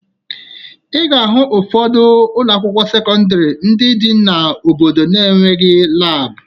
Ị ga-ahụ ụfọdụ ụlọakwụkwọ sekọndịrị ndị dị n'obodo na-enweghi laabụ